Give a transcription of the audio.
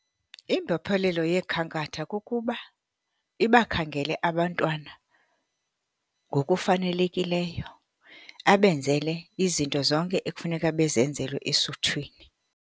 Imbophelelo yekhankatha kukuba ibakhangele abantwana ngokufanelekileyo, abenzele izinto zonke ekufuneka bezenzelwe esuthwini.